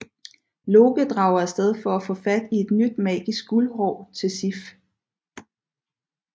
Loke drager afsted for at få fat i et nyt magisk guldhår til Sif